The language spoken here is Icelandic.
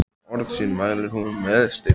Orð sín mælir hún með styrkleika.